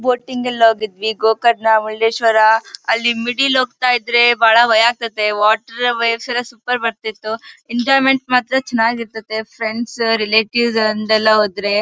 Boating ಳ್ಳಿ ಹೋಗಿದ್ವಿ ಗೋಕರ್ಣ ಮುರುಡೇಶ್ವರ ಅಲ್ಲಿ ಮಿಡಿಲಿ ಹೋಗ್ತಾ ಇದ್ರೆ ಬಾಳ ಭಯ ಆಗ್ತದೆ. ವಾಟರ್ ವೇವ್ಸ್ ಸೂಪರ್ ಬರ್ತಿತ್ತು. ಎಂಜಾಯ್ಮೆಂಟ್ ಮಾತ್ರ ಚೆನ್ನಾಗಿರ್ತದೆ ಫ್ರೆಂಡ್ಸ್ ರಿಲೇಟಿವ್ಸ್ ಅಂತೆಲ್ಲ ಹೋದರೆ.